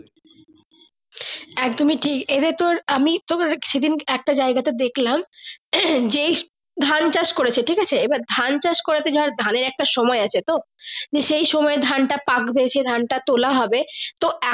একদমই ঠিক এ তে তোর আমি তোর সে দিন একটা জায়গা তে দেখলাম যেই ধান চাষ করেছে ঠিক আছে আবার ধান চাষ ধানের একটা সময় আছে তো সেই সময় এ ধান তা পাকবে সেই ধান টা তোলা হবে তো।